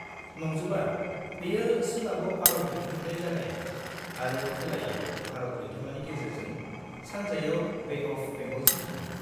-नंजोबा, बेयो सोनाबाव आरब लैथोनिफ्राय जागायो आरो खोलायाव भारत लैथोमानि गेजेरजों सानजायाव बे अफ बेंगलसिम थाङो।